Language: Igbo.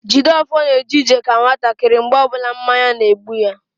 Jideofor na eje ije ka nwatakịrị mgbe ọbụla mmanya na-egbu ya